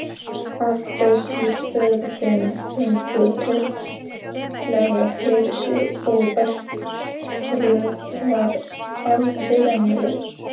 Afgreiðslustörfin gengu greiðlega fyrir sig og örtröð var aldrei veruleg.